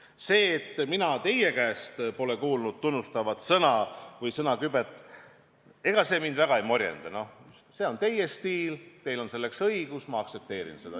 Ega see, et mina teie käest pole kuulnud tunnustavat sõna või sõnakübet, mind väga ei morjenda – no see on teie stiil, teil on selleks õigus, ma aktsepteerin seda.